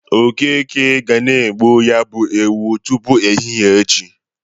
Okeke ga na-egbu ya bụ ewu tupu ehihe echi.